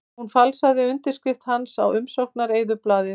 Hún falsaði undirskrift hans á umsóknareyðublað